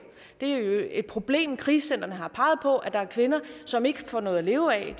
det er et problem krisecentrene har peget på at der er kvinder som ikke får noget at leve af